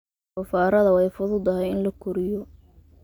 Doofaarrada way fududahay in la koriyo.